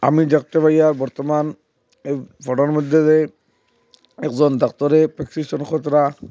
আমি দেখতে পাইয়া বর্তমান এ ফটোর মধ্যেরে একজন ডাক্তারের প্রেসক্রিপশন ।